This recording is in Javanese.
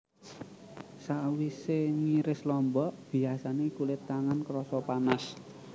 Sawisé ngiris lombok biyasané kulit tangan krasa panas